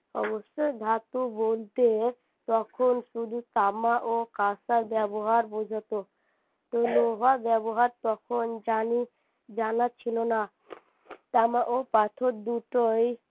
অবশ্যই ধাতু বলতে তখন শুধু তামা ও কাঁসার ব্যবহার বুঝাতো ব্যবহার তখন জানি জানা ছিল না তামা ও পাথর দুটোই